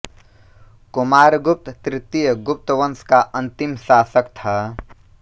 कुमारगुप्त तृतीय गुप्त वंश का अन्तिम शासक था